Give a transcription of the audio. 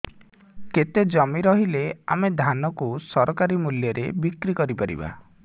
କେତେ ଜମି ରହିଲେ ଆମେ ଧାନ କୁ ସରକାରୀ ମୂଲ୍ଯରେ ବିକ୍ରି କରିପାରିବା